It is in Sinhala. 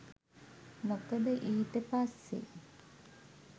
මොකද ඊට පස්සෙ